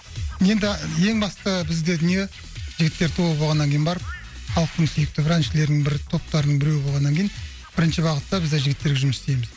енді ең басты бізде дүние жігіттер тобы болғаннан кейін барып халықтың сүйікті бір әншілерінің бірі топтарының біреуі болғаннан кейін бірінші бағытта бізде жігіттерге жұмыс істейміз